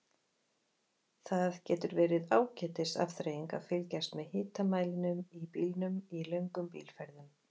Það getur verið ágætis afþreying að fylgjast með hitamælinum í bílnum í löngum bílferðum.